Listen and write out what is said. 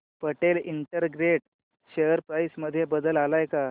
Patel integrate share price मध्ये बदल आलाय का